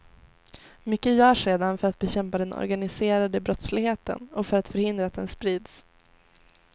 Mycket görs redan för att bekämpa den organiserade brottsligheten och för att förhindra att den sprids.